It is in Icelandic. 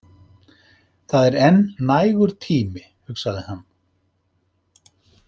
Það er enn nægur tími, hugsaði hann.